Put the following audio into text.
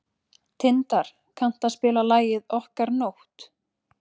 Tindar, kanntu að spila lagið „Okkar nótt“?